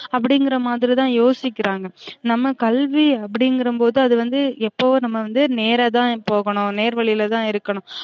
அப்டிங்கிற மாதிரி தான் யோசிக்கிறாங்க நம்ம கல்வி அப்டிங்கிற போது அது வந்து எப்பவோ நம்ம வந்து நேர தான் போகனும் நேர் வழிலதான் இருக்கனும்